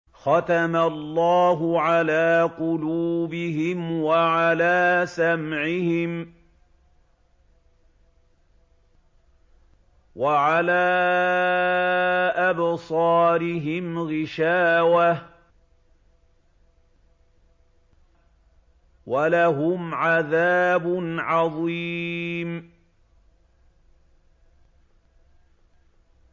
خَتَمَ اللَّهُ عَلَىٰ قُلُوبِهِمْ وَعَلَىٰ سَمْعِهِمْ ۖ وَعَلَىٰ أَبْصَارِهِمْ غِشَاوَةٌ ۖ وَلَهُمْ عَذَابٌ عَظِيمٌ